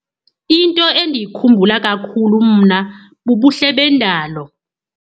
Into endiyikhumbula kakhulu mna bubuhle bendalo.